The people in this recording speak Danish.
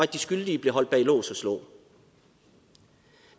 de skyldige blev holdt bag lås og slå